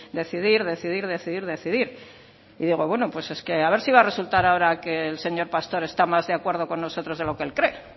decidir decidir decidir decidir y digo bueno pues es que a ver si va a resultar ahora que el señor pastor está más de acuerdo con nosotros de lo que él cree